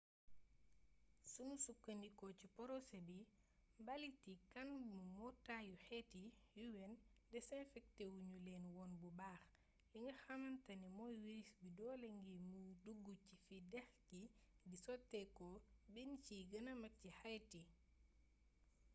sunu sukkndikoo ci porosé bi mbaliiti kan bu mbootaayu xeet yi un desinfektewu ñu leen woon bu baax li nga xamantane mey wiris bi doole ngir mu duggu ci fi dex gi di soteekoo benn ci yi gëna mag ci haïti